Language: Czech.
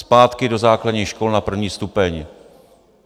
Zpátky do základních škol na první stupeň!